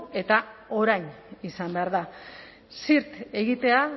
eta orain izan behar da zirt egitea